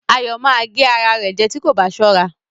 Ayọ̀ ma gé ara rẹ̀ jẹ́ tí kò bá sọra